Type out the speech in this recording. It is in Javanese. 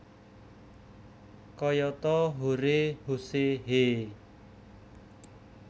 Kayata hore huse heee